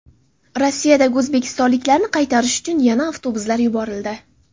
Rossiyadagi o‘zbekistonliklarni qaytarish uchun yana avtobuslar yuborildi.